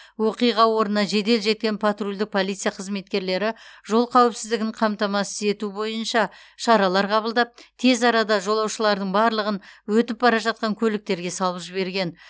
оқиға орнына жедел жеткен патрульдік полиция қызметкерлері жол қауіпсіздігін қамтамасыз ету бойынша шаралар қабылдап тез арада жолаушылардың барлығын өтіп бара жатқан көліктерге салып жіберген